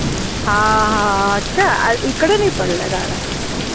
हा हा अच्छा इकडे नाई पडल्या गारा